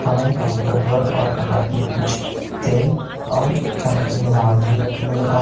वहीं काउंटर पर और कबाड़ मे कुछ तेल और खाने पीने के सामान भी रखे नजर आ रहे--